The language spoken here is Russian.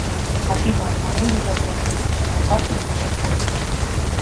афина могу я забрать выпущенную карту в другом офисе